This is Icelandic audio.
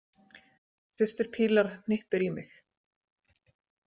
Systir Pilar hnippir í mig.